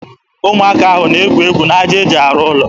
Ụmụaka ahụ na-egwu egwu n'aja e ji arụ ụlọ.